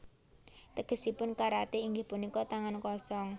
Tegesipun karaté inggih punika tangan kosong